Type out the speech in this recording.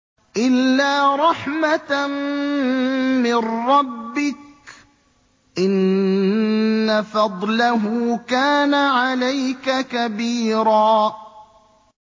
إِلَّا رَحْمَةً مِّن رَّبِّكَ ۚ إِنَّ فَضْلَهُ كَانَ عَلَيْكَ كَبِيرًا